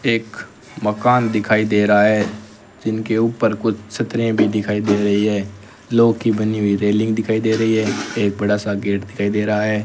एक मकान दिखाई दे रहा है जिनके ऊपर कुछ छतरें भी दिखाई दे रही हैं लोह की बनी हुई रेलिंग दिखाई दे रही है एक बड़ा सा गेट दिखाई दे रहा है।